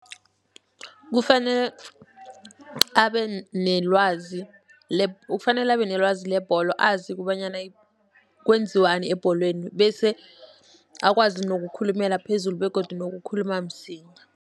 Kufanele abe nelwazi kufanele abe nelwazi lebholo azi kobanyana kwenziwani ebholweni, bese akwazi nokukhulumela phezulu begodu nokukhuluma msinya.